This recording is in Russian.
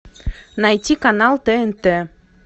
найти канал тнт